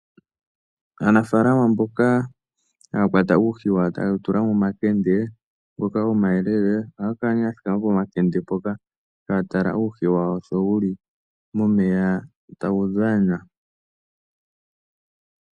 Aanafalama mboka haya kwata uuhi wawo taye wu tula momakende ngoka omayelele, ohaya kala nee ya thikama pomakende mpoka taya tala uuhi wawo sho wuli momeya tawu dhana.